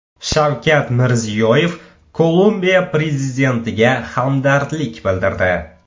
Shavkat Mirziyoyev Kolumbiya prezidentiga hamdardlik bildirdi.